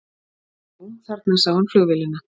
Jú, þarna sá hann flugvélina.